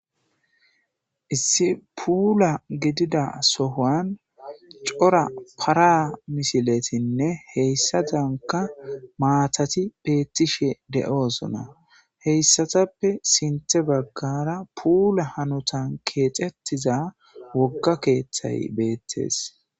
issi puula gidida sohoan cora para misiletinne heyssa danka maatati bettishe de7oosona heyssatappe sinthe baggara puula hanotan keexettiza wogga keeththay beettes